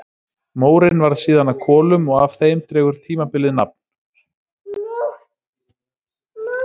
Mórinn varð síðan að kolum og af þeim dregur tímabilið nafn.